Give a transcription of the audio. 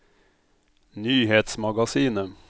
nyhetsmagasinet